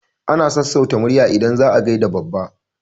Ana sassauta murya idan za a gaida babba.